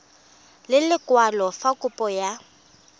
ka lekwalo fa kopo ya